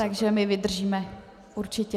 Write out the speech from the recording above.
Takže my vydržíme, určitě.